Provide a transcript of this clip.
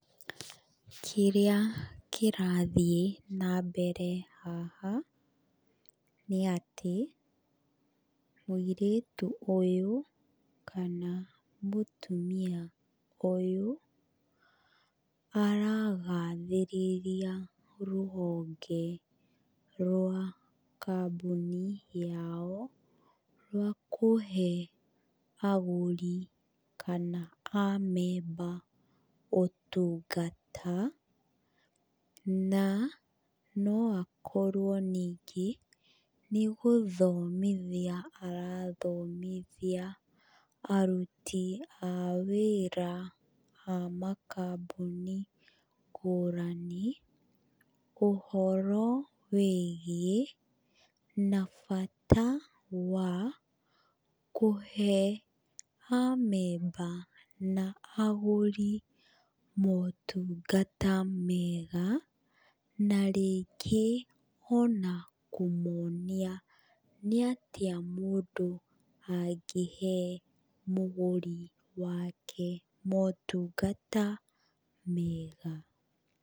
Kĩrĩa kĩrathiĩ nambere haha nĩ atĩ, mũirĩtu ũyũ kana mũtumia ũyũ, aragathĩrĩria rũhonge rwa kambuni yao rwa kũhe agũri kana amemba ũtungata, na no akorwo ningĩ nĩ gũthomithia arathomithia aruti a wĩra a makambuni ngũrani ũhoro wĩgiĩ na bata wa kũhe amemba na agũri motungata mega, na rĩngĩ ona kũmonia nĩ atĩa mũndũ angĩhe mũgũri wake motungata mega.